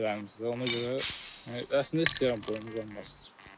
Gibərlərimizdir ona görə əslində istəyirəm boyum uzansın.